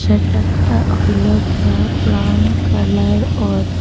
এটা একটা হইল গিয়া ব্রাউন কালার অর--